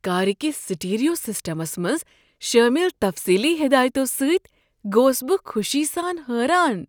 کار کس stereo systems منٛز شٲمل تفصیلی ہدایتو سۭتۍ گوس بہٕ خوشی سان حیران۔